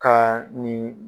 Kaa nin